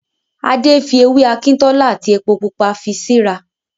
Adé fi ewé Akintola àti epo Pupa fi sí ra